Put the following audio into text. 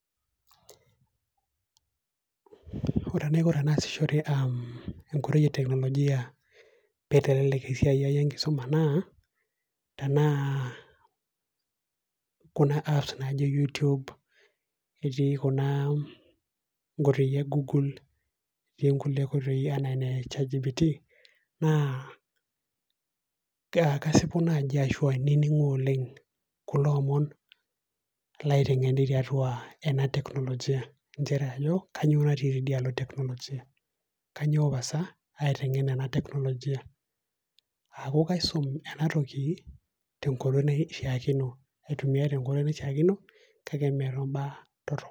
ore enaiko tenaasishore enkoitoi e teknolojia, pee eitelelek esiai ai enkisuma naa, tenaa kuna apps naaji youtube netii kuna koitoi e google[csokulie koitoi anaa ene chatgpt naa kasipu naaji asu ainining'u oleng kulo omon, kulo omon laiteng'eni oleng tiatua ena technology inchere kainyioo nati tidialo teknolojia